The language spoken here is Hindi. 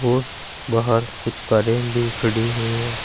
और बाहर कुछ कारें भी खड़ी हुई है।